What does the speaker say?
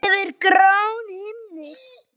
Yfir gráan himin.